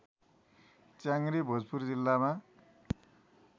च्याङ्ग्रे भोजपुर जिल्लामा